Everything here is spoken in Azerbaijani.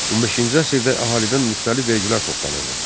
15-ci əsrdə əhalidən müxtəlif vergilər toplanırdı.